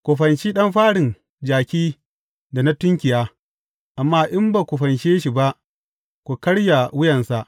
Ku fanshi ɗan farin jaki da na tunkiya, amma in ba ku fanshe shi ba, ku karya wuyansa.